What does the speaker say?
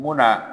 Munna